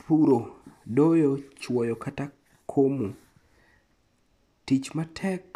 Puro, doyo, chuoyo, kata komo. Tich matek